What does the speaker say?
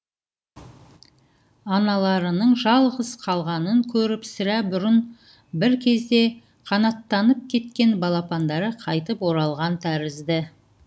аналарының жалғыз қалғанын көріп сірә бұрын бір кезде қанаттанып кеткен балапандары қайтып оралған тәрізді